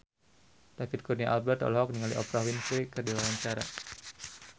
David Kurnia Albert olohok ningali Oprah Winfrey keur diwawancara